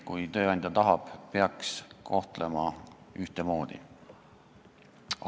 Kui tööandja tahab neid maksta, siis peaks neid kohtlema ühtemoodi.